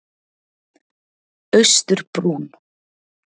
Austurbrún